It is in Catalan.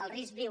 el risc diu